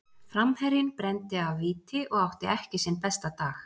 Framherjinn brenndi af víti og átti ekki sinn besta dag.